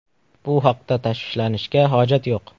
Bu haqda tashvishlanishga hojat yo‘q.